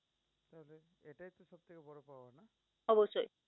অবশ্যই।